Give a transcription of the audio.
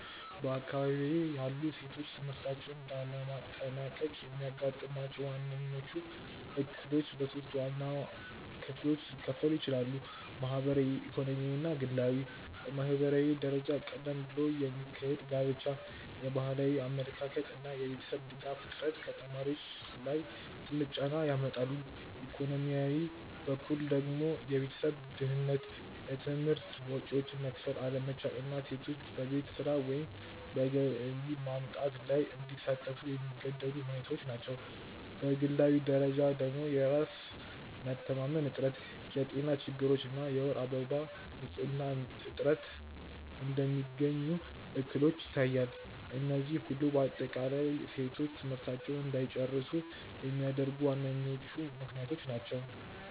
በአካባቢዬ ያሉ ሴቶች ትምህርታቸውን ላለማጠናቀቅ የሚያጋጥሟቸው ዋነኞቹ እክሎች በሶስት ዋና ክፍሎች ሊከፈሉ ይችላሉ። ማህበራዊ፣ ኢኮኖሚያዊ እና ግላዊ። በማህበራዊ ደረጃ ቀደም ብሎ የሚካሄድ ጋብቻ፣ የባህላዊ አመለካከት እና የቤተሰብ ድጋፍ እጥረት ከተማሪዎች ላይ ትልቅ ጫና ያመጣሉ፤ ኢኮኖሚያዊ በኩል ደግሞ የቤተሰብ ድህነት፣ የትምህርት ወጪዎችን መክፈል አለመቻል እና ሴቶች በቤት ስራ ወይም በገቢ ማምጣት ላይ እንዲሳተፉ የሚገደዱ ሁኔታዎች ናቸው፤ በግላዊ ደረጃ ደግሞ የራስ መተማመን እጥረት፣ የጤና ችግሮች እና የወር አበባ ንፅህና እጥረት እንደሚገኙ እክሎች ይታያሉ፤ እነዚህ ሁሉ በአጠቃላይ ሴቶች ትምህርታቸውን እንዳይጨርሱ የሚያደርጉ ዋነኞቹ ምክንያቶች ናቸው።